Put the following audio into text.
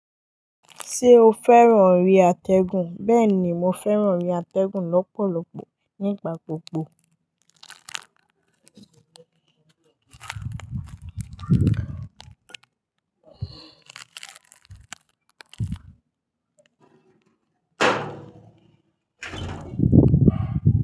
Ṣé o fẹ́ràn ere àtẹ́gùn? Bẹ́ẹ̀ ni, mo fẹ́ràn ere àtẹ́gùn lọ́pọ̀lọpọ̀ nígbà gbogbo.